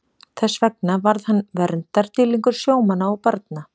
Þess vegna varð hann verndardýrlingur sjómanna og barna.